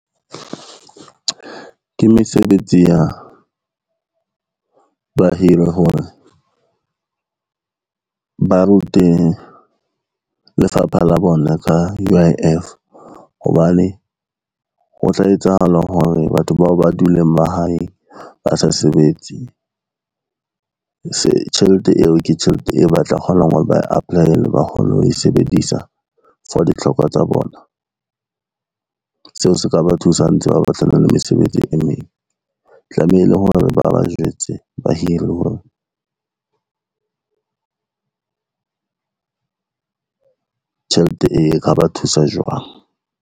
Ke mesebetsi ya ba hire hore ba rute lefapha la bona ka U_I_F hobane, ho tla etsahala hore batho bao ba dule mahaeng ba sa sebetse tjhelete eo ke tjhelete eo ba tla kgonang hore ba e apply-ela ba kgone ho e sebedisa for ditlhoko tsa bona. Seo se ka ba thusa ha ntse ba batlana le mesebetsi e meng, tlamehile hore ba ba jwetse ba hiri hore tjhelete e, e ka ba thusa jwang.